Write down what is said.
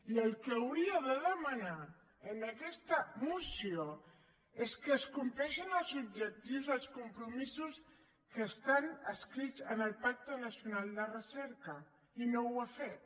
i el que hauria de demanar en aquesta moció és que es compleixin els objectius els compromisos que estan escrits en el pacte nacional de recerca i no ho ha fet